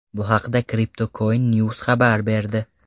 Bu haqda CryptocoinNews xabar berdi .